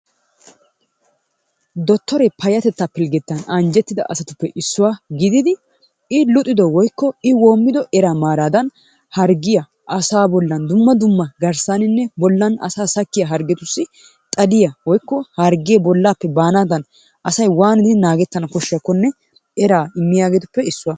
Dotoree payatettaa pilggetan anjjetida asatuppe issuwa gididi i luxxido woykko i woomido eraa maaraadan hargiiya asa bollan dumma dumma garsaaninne bollan asaa sakkiya harggetussi xaliya woykko hargee bolaappe baanaadan asay waanidi naagettana koshshiyakkonnr eraa immiyaageetuppe issuwa.